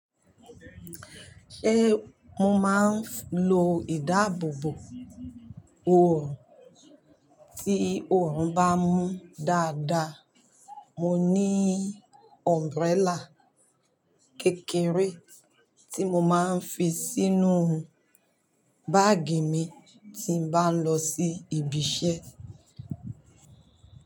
Ṣé mo máa ń lo ìdáàbòbò oòrùn tí oòrùn bá mú dáadáa. Mo ní umbrella kékeré tí mo máa ń fi sínú báàgì mi tí n bá ń lọ sí ibi iṣẹ́.